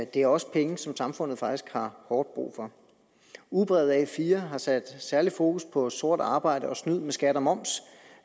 det er også penge som samfundet faktisk har hårdt brug for ugebrevet a4 har sat særligt fokus på sort arbejde og snyd med skat og moms